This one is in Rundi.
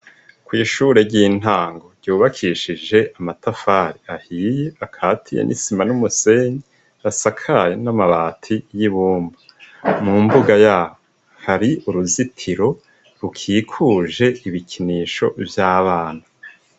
Kw'ishure ry'intango ryubakishije amatafari ahiye akatiye n'isima n'umusenyi asakaye n'amabati y'ibumba, mu mbuga yaho hari uruzitiro rukikuje ibikinisho vy'abana.